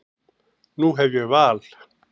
Nú hef ég val.